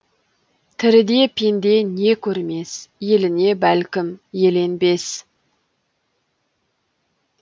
тіріде пенде не көрмес еліне бәлкім еленбес